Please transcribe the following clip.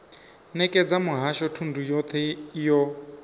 nekedza muhasho thundu yothe yo